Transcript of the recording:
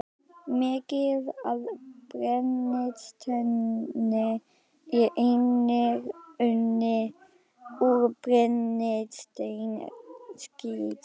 Mikið af brennisteini er einnig unnið úr brennisteinskís.